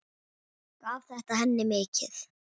Gaf þetta henni mikið.